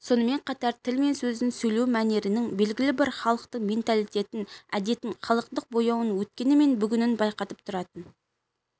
сонымен қатар тіл мен сөздің сөйлеу мәнерінің белгілі бір халықтың менталитетін әдетін халықтық бояуын өткені мен бүгінін байқатып тұратын